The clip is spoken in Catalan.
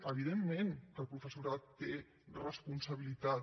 evidentment que el professorat té responsabilitats